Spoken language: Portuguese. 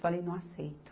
Falei, não aceito.